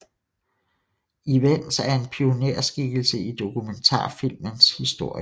Ivens er en pionerskikkelse i dokumentarfilmens historie